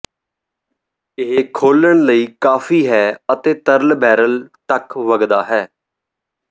ਇਹ ਖੋਲ੍ਹਣ ਲਈ ਕਾਫ਼ੀ ਹੈ ਅਤੇ ਤਰਲ ਬੈਰਲ ਤੱਕ ਵਗਦਾ ਹੈ